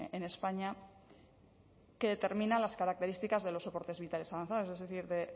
en españa que determina las características de los soportes vitales avanzados es decir o